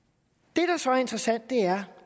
det der så er interessant er